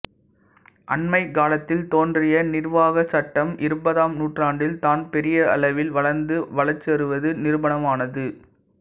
அண்மைக்காலத்தில் தோன்றிய நிர்வாகச் சட்டம் இருபதாம் நூற்றாண்டில் தான் பெரியளவில் வளர்ந்து வளர்ச்சிருவது நிரூபணமானது